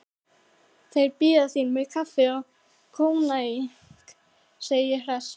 Þeir bíða þín með kaffi og koníak, segi ég hress.